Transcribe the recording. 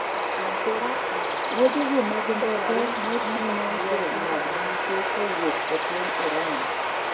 wuodhego mag ndeke ne ting'o jong'ad buche kowuok e piny Iran